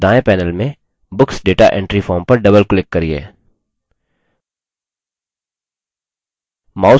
और दायें panel में books data entry form पर double click करिये